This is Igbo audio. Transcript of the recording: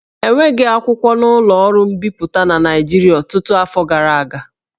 E nweghị akwụkwọ na ụlọ ọrụ mbipụta na Naịjirịa ọtụtụ afọ gara aga